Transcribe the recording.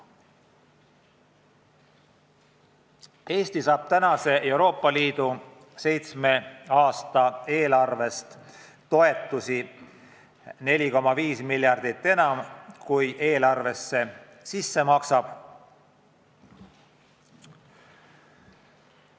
Eesti saab tänase Euroopa Liidu seitsme aasta eelarvest toetusi 4,5 miljardit enam, kui eelarvesse ise maksab.